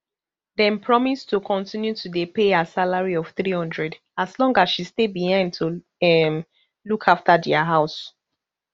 dem promise to continue to dey pay her salary of three hundred as long as she stay behind to um look afta dia house